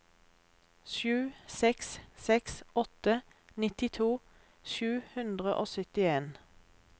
sju seks seks åtte nittito sju hundre og syttien